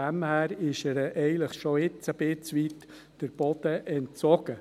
Daher ist ihm schon jetzt ein Stück weit der Boden entzogen.